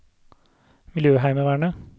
miljøheimevernet